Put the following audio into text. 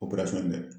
Operasɔn in dɛ